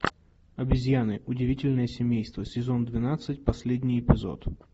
обезьяны удивительное семейство сезон двенадцать последний эпизод